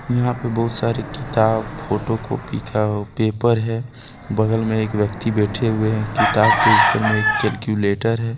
यहां पर बहुत सारे किताब फ़ोटो कॉपी का पेपर है बगल में एक व्यक्ति बैठे हुए है किताब के ऊपर में एक कैलकुलेटर हैं।